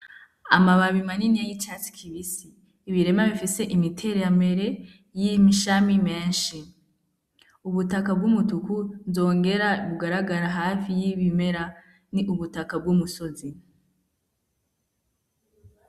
Amababi imaniniya y'icatsi kibisi ibirema bifise imitereramere y'imishami menshi ubutaka bw'umutuku nzongera bugaragara hafi y'ibimera ni ubutaka bw'umusozi.